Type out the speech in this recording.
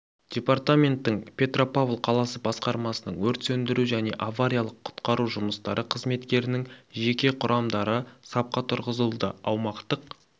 департаменттің петропавл қаласы басқармасының өрт сөндіру және авариялық-құтқару жұмыстары қызметтерінің жеке құрамдары сапқа тұрғызылды аумақтық